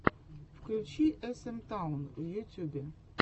включи эс эм таун в ютюбе